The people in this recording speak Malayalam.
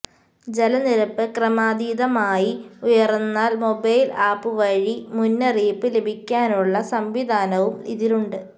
ജലനിരപ്പ് ക്രമാതീതമായി ഉയർന്നാൽ മൊബൈൽ ആപ് വഴി മുന്നറിയിപ്പ് ലഭിക്കാനുള്ള സംവിധാനവും ഇതിലുണ്ട്